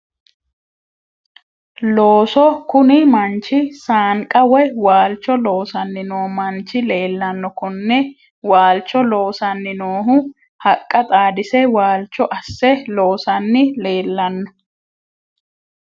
Looso kuni manchi saanqa woyi waalcho loosanni noo manchi leellanno konne waalcho loosanni noohu haqqa xaadise waalcho asse loosanni leellanno